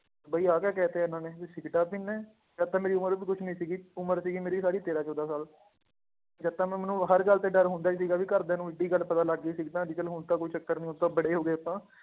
ਬਾਈ ਆਹ ਕਿਆ ਕਹਿ ਦਿੱਤਾ ਇਹਨਾਂ ਨੇ ਵੀ ਸਿਗਰਟਾਂ ਪੀਂਦਾ ਹੈ, ਜਦ ਤਾਂ ਮੇਰੀ ਉਮਰ ਵੀ ਕੁਛ ਨੀ ਸੀਗੀ ਉਮਰ ਸੀਗੀ ਮੇਰੀ ਸਾਰੀ ਤੇਰਾਂ ਚੌਦਾਂ ਸਾਲ ਜਦ ਤਾਂ ਮੈਂ ਮੈਨੂੰ ਹਰ ਗੱਲ ਤੇ ਡਰ ਹੁੰਦਾ ਹੀ ਸੀਗਾ ਵੀ ਘਰਦਿਆਂ ਨੂੰ ਇੱਡੀ ਗੱਲ ਪਤਾ ਲੱਗ ਗਈ ਸਿਗਰਟਾਂ ਲੇਕਿੰਨ ਹੁਣ ਤਾਂ ਕੋਈ ਚੱਕਰ ਨੀ ਹੁਣ ਤਾਂ ਬੜੇ ਹੋ ਗਏ ਆਪਾਂ